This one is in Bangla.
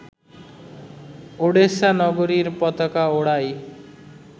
ওডেসা নগরীর পতাকা ওড়ায়